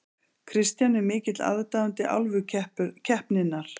Kristján er mikill aðdáandi Álfukeppninnar.